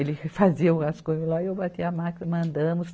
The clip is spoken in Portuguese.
Ele fazia umas coisas lá e eu batia máquina, mandamos.